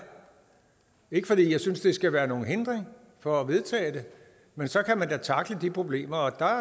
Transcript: ikke fordi jeg synes det skal være nogen hindring for at vedtage det men så kan man da tackle de problemer og der